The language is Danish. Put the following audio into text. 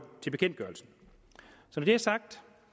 til bekendtgørelsen